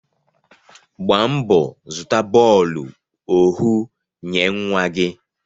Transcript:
Gbaa mbọ zụta bọọlu ohu nye nwa gi